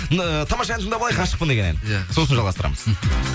енді тамаша ән тыңдап алайық ғашықпын деген ән иә сосын жалғастырамыз